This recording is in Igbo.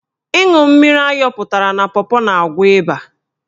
Ịṅụ mmiri ayọpụtara na pọpọ na-agwọ ịba.